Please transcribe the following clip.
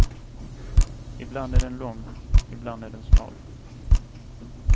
Ibland är den lång, ibland är den smal.